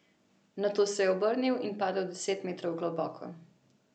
Nato se je obrnil in padel deset metrov globoko.